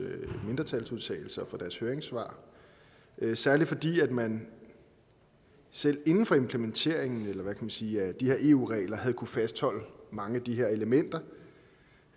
mindretalsudtalelser og for deres høringssvar særlig fordi man selv inden for implementeringen eller hvad kan man sige af de her eu regler havde kunnet fastholde mange af de her elementer